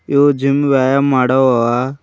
ಇವು ಜಿಮ್ ವ್ಯಾಯಾಮ್ ಮಾಡೋವವ.